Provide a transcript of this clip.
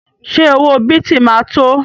Ṣé owó bìtì ma tó?